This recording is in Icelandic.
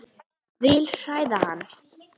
Vil hræða hann.